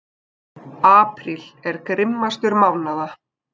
Apríl er grimmastur mánaða.